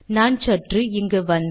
நான் சற்று இங்கு வந்து